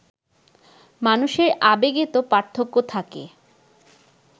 মানুষের আবেগে তো পার্থক্য থাকে